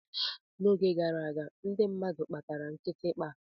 N'oge gara aga, ndị mmadụ kpatara kitikpa.